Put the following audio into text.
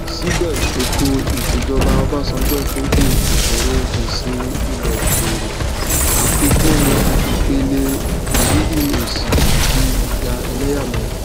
sibe etoisejoba obasanjo koju isoro gbese ile okeere afikun ipele iriri osi ati ija eleyameya